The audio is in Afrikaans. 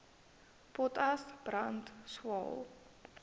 potas brand swael